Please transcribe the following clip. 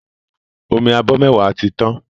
Omi abọ mẹwa tí tàn